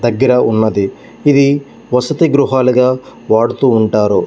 దగ్గర ఉన్నది ఇది వసతి గృహాలుగా వాడుతూ ఉంటారు.